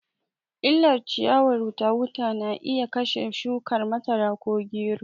Illar ciyawar wuta wuta na iya kashe shukar masara ko gero